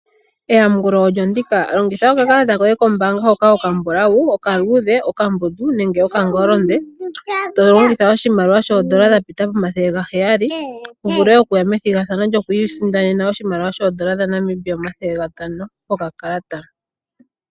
Eyamukulo olyo ndika. Longitha okakalata koye kombaanga hoka okambulawu, okaluudhe, okambundu nenge okangolondo, to longitha oshimaliwa shoondola dha pita pomathele ga heyali, wu vule okuya methigathano lyokwiisindanena oshimaliwa shoondola dha Namibia omathele gatano kokakalata.